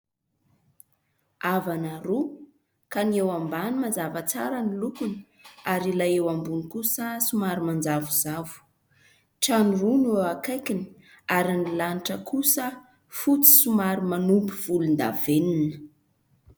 Avana roa ka ny eo ambany mazava tsara ny lokony ary ilay eo ambony kosa somary manjavozavo, trano roa no eo akaikiny ary ny lanitra kosa fotsy somary manopy volondavenona.